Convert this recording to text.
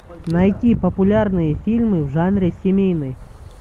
найти популярные фильмы в жанре семейный